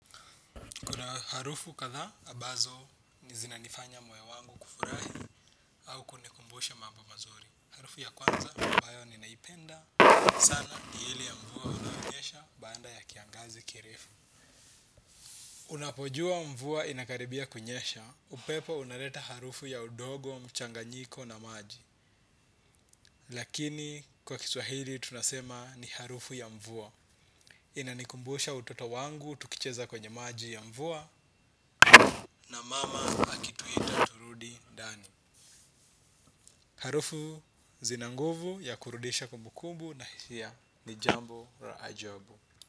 Kuna harufu katha, ambazo, ni zinanifanya moyo wangu kufurahi au kunikumbusha mambo mazuri. Harufu ya kwanza, ambayo ninaipenda. Sana, ni ile ya mvua unaonyesha baada ya kiangazi kirefu. Unapojua mvua inakaribia kunyesha, upepo unaleta harufu ya udogo, mchanganyiko na maji. Lakini, kwa kiswahili, tunasema ni harufu ya mvua. Inanikumbusha utoto wangu, tukicheza kwenye maji ya mvua. Na mama akituita turudi dani. Harufu zina nguvu ya kurudisha kumbukumbu na hisia. Ni jambo la ajabu.